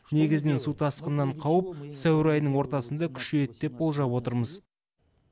негізінен су тасқынынан қауіп сәуір айының ортасында күшейеді деп болжап отырмыз